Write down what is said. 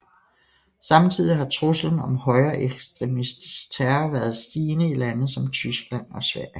Samtidig har truslen om højreekstremistisk terror været stigende i lande som Tyskland og Sverige